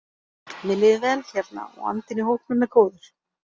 Mér líður vel hérna og andinn í hópnum er góður.